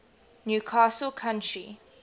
new castle county